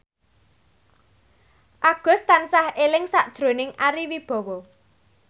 Agus tansah eling sakjroning Ari Wibowo